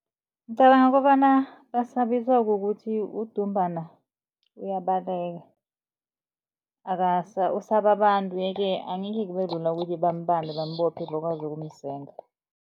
Ngicabanga kobana basabiswa kukuthi udumbana uyabaleka. Usaba abantu yeke angekhe kubelula ukuthi bambambe bambophe bakwazi ukumsenga.